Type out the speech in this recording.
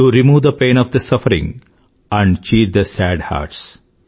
to remove the pain of the sufferingఆండ్ cheer the sad hearts